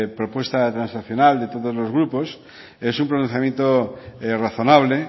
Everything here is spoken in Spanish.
propuesta transaccional de todos los grupos es un pronunciamiento razonable